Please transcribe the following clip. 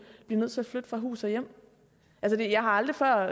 blive nødt til at flytte fra hus og hjem altså jeg har aldrig før